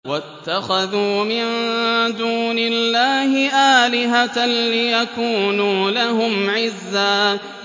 وَاتَّخَذُوا مِن دُونِ اللَّهِ آلِهَةً لِّيَكُونُوا لَهُمْ عِزًّا